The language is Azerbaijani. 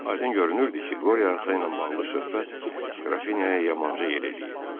Aydın görünürdü ki, qoryata ilə bağlı söhbət Qrafinyaya yamanca yer eləyib.